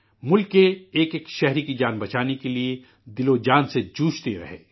ملک کے ایک ایک شہری کی جان بچانے کے لیے جی جان سے مصروف عمل رہے